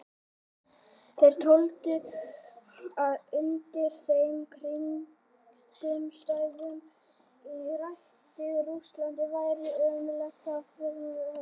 Þeir töldu að undir þeim kringumstæðum sem ríktu í Rússlandi væri ómögulegt að framfylgja henni.